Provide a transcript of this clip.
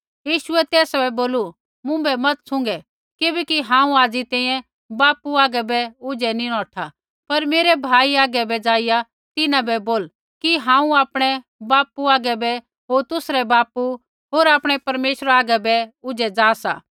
यीशुऐ तेसा बै बोलू मुँभै मत छ़ुँगै किबैकि हांऊँ हाज़ी तैंईंयैं बापू हागै बै ऊझै नैंई नौठा पर मेरै भाई हागै बै जाईया तिन्हां बै बोल कि हांऊँ आपणै बापू हागै बै होर तुसरै बापू होर आपणै परमेश्वरा आगै बै ऊझै जा सा